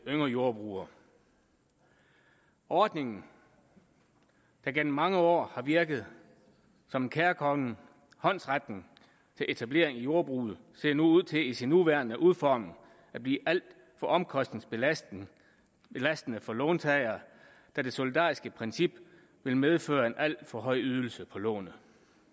yngre jordbrugere ordningen der gennem mange år har virket som en kærkommen håndsrækning til etablering i jordbruget ser ud til i sin nuværende udformning at blive alt for omkostningsbelastende for låntagere da det solidariske princip vil medføre en alt for høj ydelse på lånet